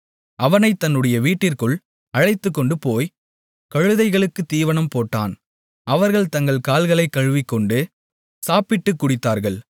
அவனைத் தன்னுடைய வீட்டிற்குள் அழைத்துக்கொண்டுபோய் கழுதைகளுக்குத் தீவனம் போட்டான் அவர்கள் தங்கள் கால்களைக் கழுவிக்கொண்டு சாப்பிட்டுக் குடித்தார்கள்